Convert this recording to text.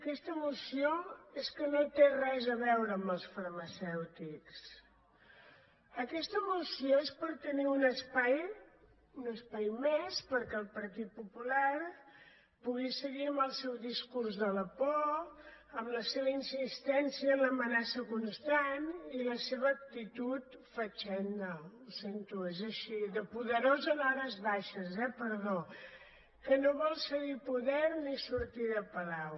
aquesta moció és que no té res a veure amb els farmacèutics aquesta moció és per tenir un espai un espai més perquè el partit popular pugui seguir amb el seu discurs de la por amb la seva insistència en l’amenaça constant i la seva actitud fatxenda ho sento és així de poderós en hores baixes eh perdó que no vol cedir poder ni sortir de palau